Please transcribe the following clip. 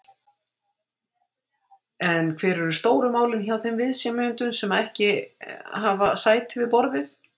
En hver eru stóru málin hjá þeim viðsemjendum sem hafa ekki sæti við borðið?